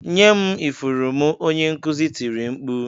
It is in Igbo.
"Nye m ifụrụ m" Onye nkuzi tiri mkpu